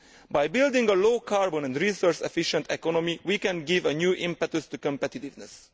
By building a low carbon and resource efficient economy we can give a new impetus to competitiveness.